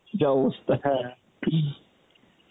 যা অবস্থা হ্যাঁ